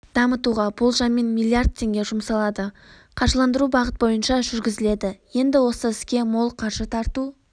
дамытуға болжаммен миллиард теңге жұмсалады қаржыландыру бағыт бойынша жүргізіледі енді осы іске мол қаржы тарту